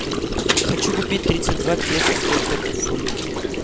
хочу купить тридцать два песо сколько это в фунтах